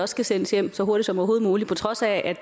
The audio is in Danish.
skal sendes hjem så hurtigt som overhovedet muligt på trods af at